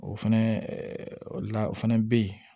O fɛnɛ ɛɛ o la o fɛnɛ bɛ ye